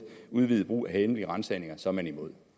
udvidet brug af hemmelige ransagninger så er man imod